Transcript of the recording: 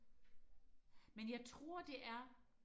men jeg tror det er